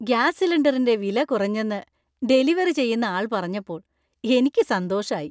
Gas സിലിണ്ടറിന്‍റെ വില കുറഞ്ഞെന്നു ഡെലിവറി ചെയുന്ന ആൾ പറഞ്ഞപ്പോൾ എനിക്ക് സന്തോഷായി.